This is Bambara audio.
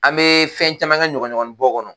An bɛ fɛn caman ka ɲɔgɔnɲɔgɔnninbɔ kɔnɔ